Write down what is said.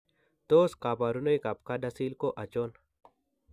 Tos kabarunoik ab CADASIL ko achon?